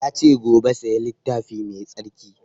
Ya ce gobe saya littafi mai tsarki